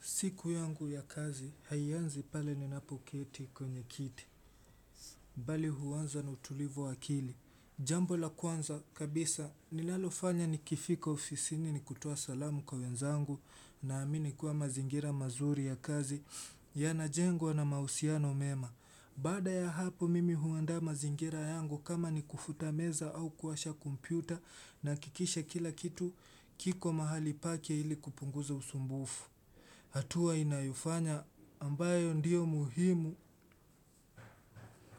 Siku yangu ya kazi, haianzi pale ninapoketi kwenye kiti, bali huaanza na utulivu wakili. Jambo la kwanza, kabisa, nilalo fanya ni kifika ofisini ni kutoa salamu kwa wenzangu naamini kua mazingira mazuri ya kazi, yana jengwa na mahusiano mema. Baada ya hapo mimi huandaa mazingira yangu kama ni kufuta meza au kuwasha kompyuta nahakikisha kila kitu kiko mahali pake ili kupunguza usumbufu. Hatua inayofanya ambayo ndio muhimu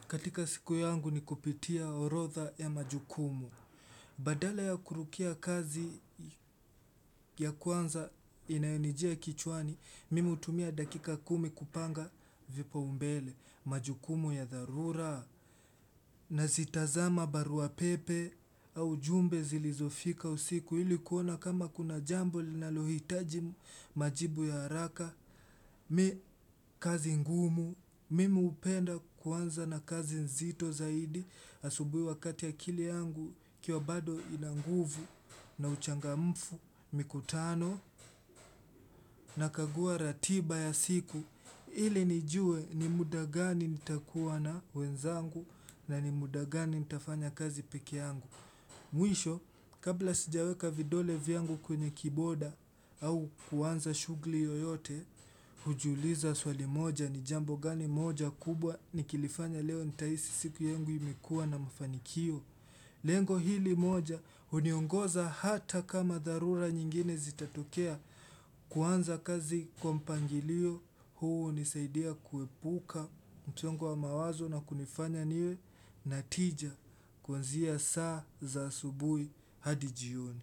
katika siku yangu ni kupitia horodha ya majukumu. Badala ya kurukia kazi ya kwanza inayonijia kichwani, mim hutumia dakika kumi kupanga vipaumbele majukumu ya dharura. Nazi tazama barua pepe au jumbe zilizofika usiku ili kuona kama kuna jambo linalohitaji majibu ya haraka. Mi kazi ngumu, mimi hupenda kuanza na kazi nzito zaidi asubuhi wakati akili yangu ikiwa bado ina nguvu na uchangamfu mikutano. Nakagua ratiba ya siku ili nijue ni muda gani nitakuwa na wenzangu na ni muda gani nitafanya kazi peke yangu. Mwisho, kabla sijaweka vidole vyangu kwenye kiboda au kuanza shughuli yoyote, huji uliza swali moja ni jambo gani moja kubwa nikilifanya leo nitahisi siku yangu imekuwa na mafanikio. Lengo hili moja huniongoza hata kama dharura nyingine zitatokea kuanza kazi kwa mpangilio huu hunisaidia kuepuka msuongo wa mawazo na kunifanya niwe na tija kuanzia saa za subui hadi jioni.